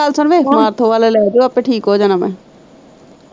ਮੇਰੀ ਗੱਲ ਸੁਣ ਵੇ ਮਾਰਥੋਂਵਲ ਲੈਜੋਂ ਅਪੇ ਠੀਕ ਹੋ ਜਾਣਾ ਮੈਂ।